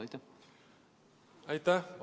Aitäh!